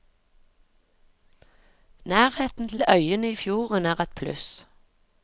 Nærheten til øyene i fjorden er et pluss.